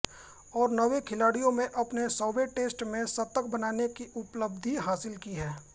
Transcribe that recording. और नौ खिलाड़ियों ने अपने सौवें टेस्ट में शतक बनाने की उपलब्धि हासिल की है